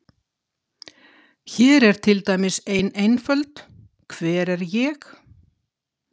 Hér er til dæmis ein einföld: Hver er ég?